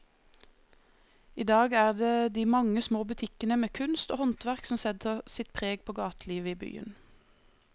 I dag er det de mange små butikkene med kunst og håndverk som setter sitt preg på gatelivet i byen.